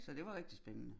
Så det var rigtig spændende